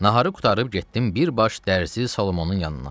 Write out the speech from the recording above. Naharı qurtarıb getdim bir baş dərzi Solomonun yanına.